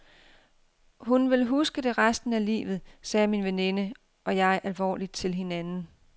Hun vil huske det resten af livet, sagde min veninde og jeg alvorligt til hinanden.